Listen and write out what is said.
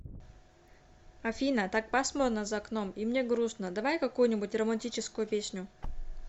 афина так пасмурно за окном и мне грустно давай какую нибудь романтическую песню